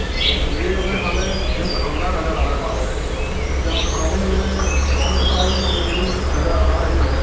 इस तस्वीर हमें एक जिम खाना नज़र आ रहा है जिम खाने में बहुत सारी मशीनरी नजर आ रही हैं।